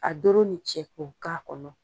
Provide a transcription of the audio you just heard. A doro ni cɛ k'o k'a kɔnɔ.